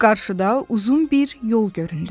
Qarşıda uzun bir yol göründü.